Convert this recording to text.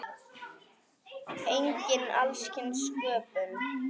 Einnig alls kyns sköpun.